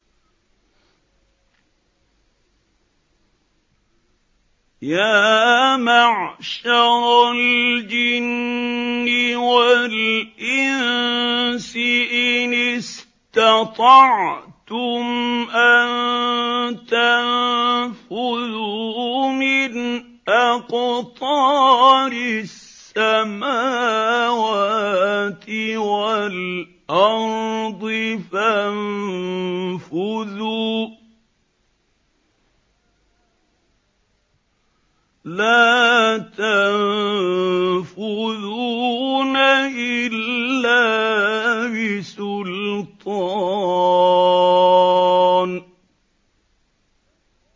يَا مَعْشَرَ الْجِنِّ وَالْإِنسِ إِنِ اسْتَطَعْتُمْ أَن تَنفُذُوا مِنْ أَقْطَارِ السَّمَاوَاتِ وَالْأَرْضِ فَانفُذُوا ۚ لَا تَنفُذُونَ إِلَّا بِسُلْطَانٍ